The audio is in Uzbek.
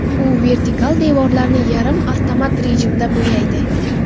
U vertikal devorlarni yarim avtomat rejimda bo‘yaydi.